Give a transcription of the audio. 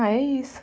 Ah, é isso.